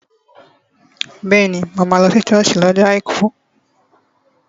Bẹ́ẹ̀ni, mo máa lọ sí sọ́ọ̀sì ní ọjọ́ àìkú